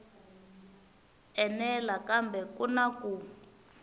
enela kambe ku na ku